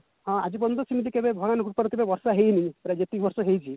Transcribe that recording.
ହଁ ଆଜି ପର୍ଯ୍ୟନ୍ତ ସେମିତି କେବେ ଭାୟାନୁଭୂତର କେବେ ବର୍ଷା ହେଇନି ଯେତିକି ବର୍ଷ ହେଇଛି